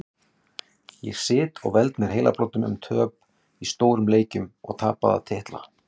Ég sit og veld mér heilabrotum um töp í stórum leikjum og tapaða titla.